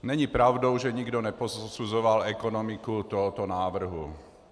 Není pravdou, že nikdo neposuzoval ekonomiku tohoto návrhu.